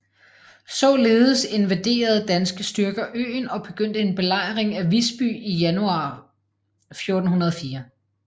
Således invaderede danske styrker øen og begyndte en belejring af Visby i januar 1404